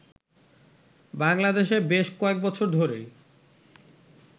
বাংলাদেশে বেশ কয়েক বছর ধরেই